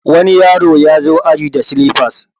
wani yaro ya zo aji da silifas